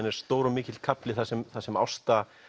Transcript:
er stór og mikill kafli þar sem þar sem Ásta